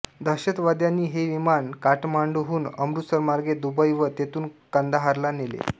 दहशतवाद्यांनी हे विमान काठमांडूहून अमृतसरमार्गे दुबई व तेथून कंदाहारला नेले